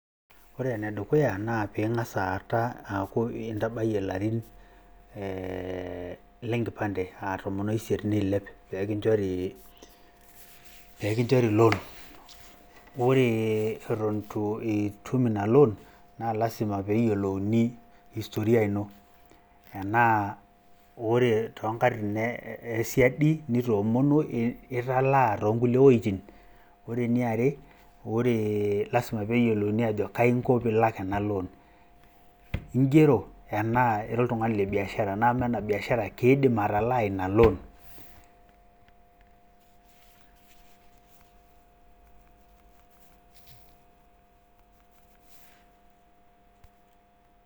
Ore enedukuya naa peing'as aata, intabayie ilarin, lenkipande aa tomo oisiet neilep pee kinchori loan. Ore eton itu tum ina loan, naa lasima pee eyiolouni historia ino. Tenaa ore too nkatitin esiadi nitoomonuo italaa too nkulie wejitin. Ore eniare, lasima pee yiolouni ajo kaji inko pee ilak ena loan, ing'ero anaa ira olting'ani le biashara amaa ina biashara keidim atalaa ina loan.